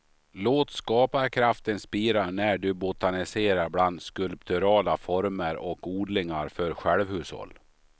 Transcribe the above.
Låt skaparkraften spira när du botaniserar bland skulpturala former och odlingar för självhushåll.